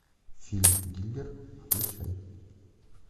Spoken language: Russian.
фильм дилер включай